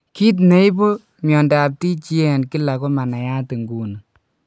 Kit ine ne ipu miondap TGA en kila koma nayat nguni.